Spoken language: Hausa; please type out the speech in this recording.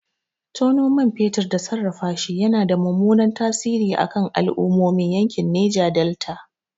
Tono man fetur da sarrafashi yana da mummunan tasiri a kan al'ummomin yankin Neja Delta.